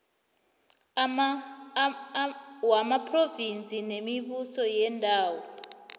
wamaphrovinsi nemibuso yeendawo